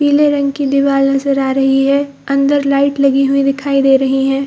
पीले रंग की दीवार नजर आ रही है अंदर लाइट लगी हुई दिखाई दे रही है ।